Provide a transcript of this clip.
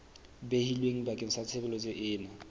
behilweng bakeng sa tshebeletso ena